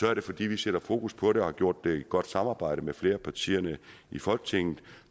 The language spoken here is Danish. er det fordi vi sætter fokus på det og har gjort det i et godt samarbejde med flere af partierne i folketinget